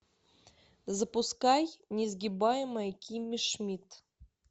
запускай несгибаемая кимми шмидт